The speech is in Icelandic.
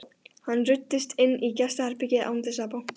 Hann ruddist inn í gestaherbergið án þess að banka.